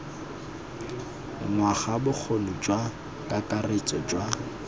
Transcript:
ngwaga bokgoni jwa kakaretso jwa